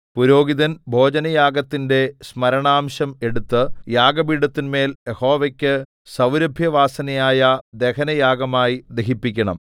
പുരോഹിതൻ ഭോജനയാഗത്തിന്റെ സ്മരണാംശം എടുത്തു യാഗപീഠത്തിന്മേൽ യഹോവയ്ക്കു സൗരഭ്യവാസനയായ ദഹനയാഗമായി ദഹിപ്പിക്കണം